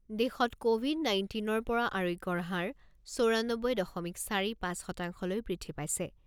দেশত ক'ভিড নাইণ্টিনৰ পৰা আৰোগ্যৰ হাৰ চৌৰানব্বৈ দশমিক চাৰি পাঁচ শতাংশলৈ বৃদ্ধি পাইছে।